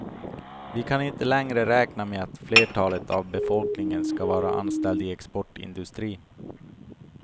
Vi kan inte längre räkna med att flertalet av befolkningen skall vara anställd i exportindustrin.